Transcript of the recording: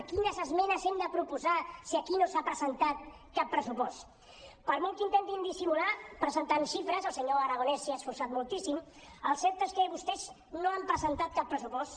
quines esmenes hem de proposar si aquí no s’ha presentat cap pressupost per molt que intentin dissimular presentant xifres el senyor aragonès s’hi ha esforçat moltíssim el cert és que vostès no han presentat cap pressupost